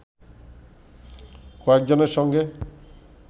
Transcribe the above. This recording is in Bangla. কয়েকজনের সঙ্গে